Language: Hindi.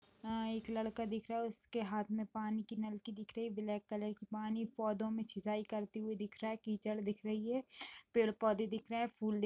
एक लड़का दिख रहा है । उसके हाथ में पानी की नलकी दिख रही है । ब्लैक कलर की पानी पौधो में छिताई करती हुई दिख रहा हैं । कीचड़ दिख रही हैं पेड़ पौध दिख रहा हैं फूल देख --